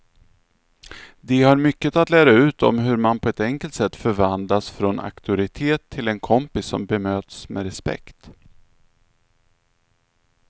De har mycket att lära ut om hur man på ett enkelt sätt förvandlas från auktoritet till en kompis som bemöts med respekt.